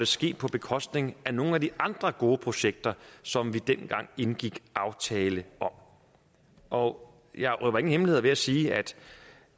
sket på bekostning af nogle af de andre gode projekter som vi dengang indgik aftale om og jeg røber ingen hemmeligheder ved at sige